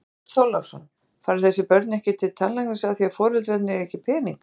Björn Þorláksson: Fara þessi börn ekki tannlæknis af því að foreldrarnir eiga ekki pening?